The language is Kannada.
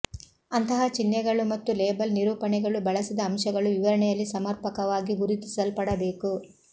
ಅಂತಹ ಚಿಹ್ನೆಗಳು ಮತ್ತು ಲೇಬಲ್ ನಿರೂಪಣೆಗಳು ಬಳಸಿದ ಅಂಶಗಳು ವಿವರಣೆಯಲ್ಲಿ ಸಮರ್ಪಕವಾಗಿ ಗುರುತಿಸಲ್ಪಡಬೇಕು